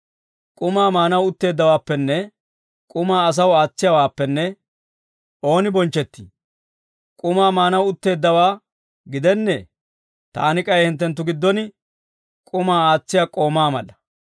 «K'umaa maanaw utteeddawaappenne k'umaa asaw aatsiyaawaappenne ooni bonchchettii? K'umaa maanaw utteeddawaa gidennee? Taani k'ay hinttenttu giddon k'umaa aatsiyaa k'oomaa mala.